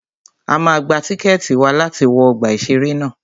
A máa gba tíkẹ̀tì wa láti wọ ọgbà ìṣẹ̀rẹ́ ná.